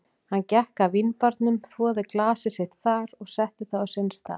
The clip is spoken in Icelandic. Hann gekk að vínbarnum, þvoði glasið sitt þar og setti það á sinn stað.